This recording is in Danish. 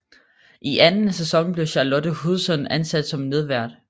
I anden sæson blev Charlotte Hudson ansat som medvært